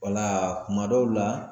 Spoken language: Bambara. Wala kuma dɔw la